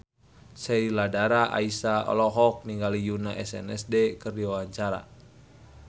Sheila Dara Aisha olohok ningali Yoona SNSD keur diwawancara